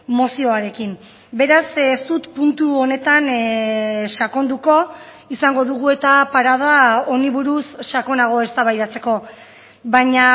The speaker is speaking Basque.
mozioarekin beraz ez dut puntu honetan sakonduko izango dugu eta parada honi buruz sakonago eztabaidatzeko baina